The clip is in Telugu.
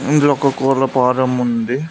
ఇందులో ఒక కోళ్ల ఫారం ఉంది.